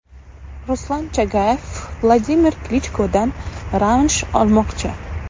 Ruslan Chagayev Vladimir Klichkodan revansh olmoqchi.